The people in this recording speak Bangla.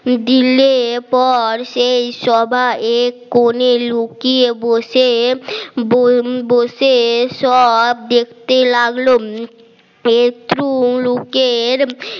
দিলে পর সেই সভা এক কোণে লুকিয়ে বসে বসে সব দেখতে লাগলো পেট্র লোকের